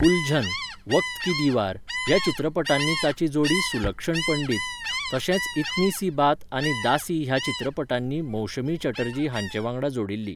उलझन, वक्त की दीवार ह्या चित्रपटांनी ताची जोडी सुलक्षण पंडित, तशेंच इतनी सी बात आनी दासी ह्या चित्रपटांनी मौशमी चटर्जी हांचे वांगडा जोडिल्ली.